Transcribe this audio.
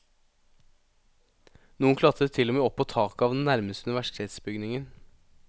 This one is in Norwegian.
Noen klatret til og med opp på taket av den nærmeste universitetsbygningen.